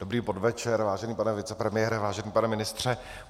Dobrý podvečer, vážený pane vicepremiére, vážený pane ministře.